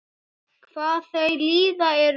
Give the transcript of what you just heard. Hvað þau líða eru þau?